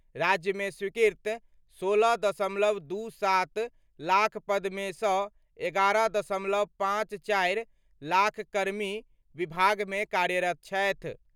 राज्य मे स्वीकृत 16.27 लाख पद मे सं 11.54 लाख कर्मी विभाग मे कार्यरत छथि।